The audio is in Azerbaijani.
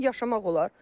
Belə yaşamaq olar?